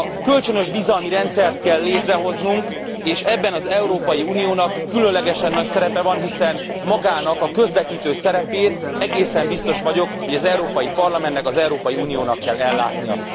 Kölcsönös bizalmi rendszert kell létrehoznunk és ebben az Európai Uniónak különlegesen nagy szerepe van, hiszen magának a közvetítő szerepét, egészen biztos vagyok, hogy az Európai Parlamentnek, az Európai Uniónak kell ellátnia.